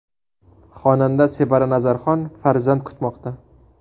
Xonanda Sevara Nazarxon farzand kutmoqda.